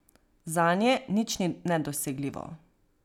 Zanje nič ni nedosegljivo.